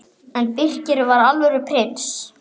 En Birkir var alvöru prins.